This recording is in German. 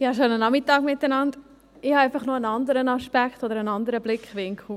Ich habe noch einen anderen Aspekt oder einen anderen Blickwinkel.